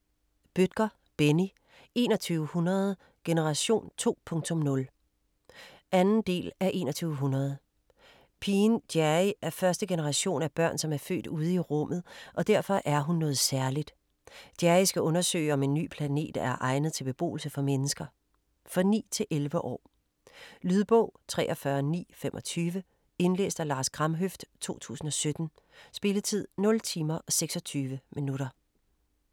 Bødker, Benni: 2100 - generation 2.0 2. del af 2100. Pigen Jerry er første generation af børn, som er født ude i rummet, og derfor er hun noget særligt. Jerry skal undersøge om en ny planet er egnet til beboelse for mennesker. For 9-11 år. Lydbog 43925 Indlæst af Lars Kramhøft, 2017. Spilletid: 0 timer, 26 minutter.